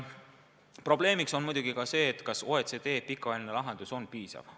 Probleemiks on muidugi ka see, kas OECD pikaajaline lahendus on piisav.